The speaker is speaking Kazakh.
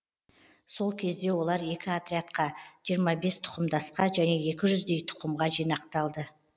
сол кезде олар екі отрядқа жиырма бес тұқымдасқа және екі жүздей тұқымға жинақталды